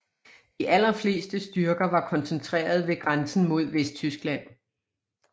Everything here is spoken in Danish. De allerfleste styrker var koncentreret ved grænsen mod Vesttyskland